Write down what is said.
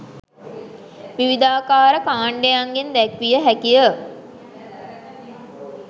විවිධාකාර කාන්ඩයන්ගෙන් දැක්විය හැකිය.